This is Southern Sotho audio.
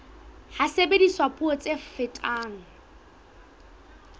ha sebediswa puo tse fetang